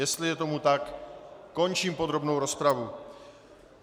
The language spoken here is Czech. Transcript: Jestli je tomu tak, končím podrobnou rozpravu.